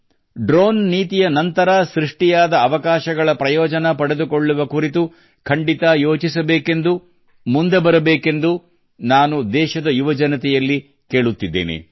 drone ನೀತಿಯ ನಂತರ ಸೃಷ್ಟಿಯಾದ ಅವಕಾಶಗಳ ಪ್ರಯೋಜನ ಪಡೆದುಕೊಳ್ಳುವ ಕುರಿತು ಖಂಡಿತಾ ಯೋಚಿಸಬೇಕೆಂದು ಮುಂದೆ ಬರಬೇಕೆಂದು ನಾನು ದೇಶದ ಯುವಜನತೆಯಲ್ಲಿ ಕೇಳುತ್ತಿದ್ದೇನೆ